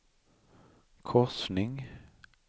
korsning